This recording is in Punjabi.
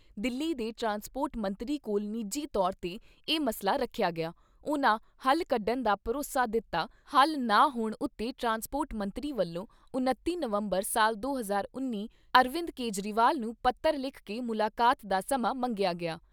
ਦਿੱਲੀ ਦੇ ਟਰਾਂਸਪੋਰਟ ਮੰਤਰੀ ਕੋਲ ਨਿਜੀ ਤੌਰ ਤੇ ਇਹ ਮਸਲਾ ਰੱਖਿਆ ਗਿਆ, ਉਨ੍ਹਾਂ ਹੱਲ ਕੱਢਣ ਦਾ ਭਰੋਸਾ ਦਿੱਤਾ, ਹਲ ਨਾ ਹੋਣ ਉੱਤੇ ਟਰਾਂਸਪੋਰਟ ਮੰਤਰੀ ਵੱਲੋਂ ਉਣੱਤੀ ਨਵੰਬਰ ਸਾਲ ਦੋ ਹਜ਼ਾਰ ਉੱਨੀ ਅਰਵਿੰਦ ਕੇਜਰੀਵਾਲ ਨੂੰ ਪੱਤਰ ਲਿਖ ਕੇ ਮੁਲਾਕਾਤ ਦਾ ਸਮਾਂ ਮੰਗਿਆ ਗਿਆ।